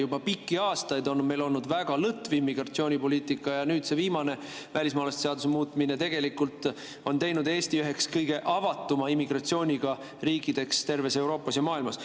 Juba pikki aastaid on meil olnud väga lõtv immigratsioonipoliitika ja nüüd see viimane välismaalaste seaduse muutmine on teinud Eesti üheks kõige avatuma immigratsiooniga riigiks terves Euroopas ja maailmas.